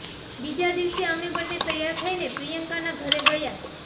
બીજા દિવસે અમે બંને તૈયાર થઈને પ્રિયંકાના ઘરે ગયા